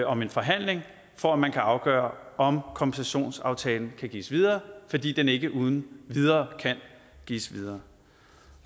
om en forhandling for at man kan afgøre om kompensationsaftalen kan gives videre fordi den ikke uden videre kan gives videre